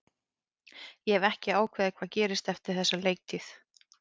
Ég hef ekki ákveðið hvað gerist eftir þessa leiktíð.